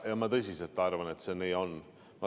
Ma tõsiselt arvan, et see nii on.